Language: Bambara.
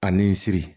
A ni siri